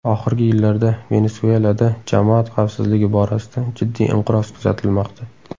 Oxirgi yillarda Venesuelada jamoat xavfsizligi borasida jiddiy inqiroz kuzatilmoqda.